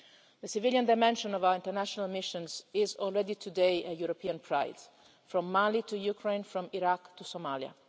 The civilian dimension of our international missions is already a source of European pride today, from Mali to Ukraine, from Iraq to Somalia.